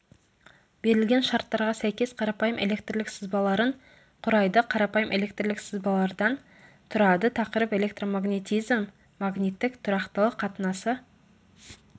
берілген шарттарға сәйкес қарапайым электрлік сызбаларын құрайды қарапайым электрлік сызбалардан тұрады тақырып электромагнетизм магниттік тұрақтылық қатынасы